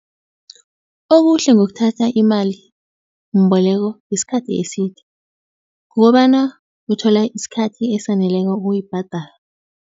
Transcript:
Okuhle ngokuthatha imalimboleko yesikhathi eside kukobana uthola isikhathi esaneleko ukuyibhadala.